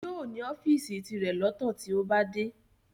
Yóò ní ọ́fìsì tirẹ̀ lọ́tọ̀ tí ó bá dé